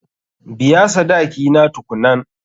Biya sadaki na tukunnan.